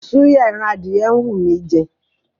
Súyà ẹran adìyẹ ń wú mí í jẹ.